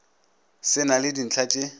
se na le dintlha tše